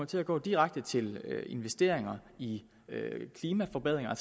til at gå direkte til investeringer i klimaforbedringer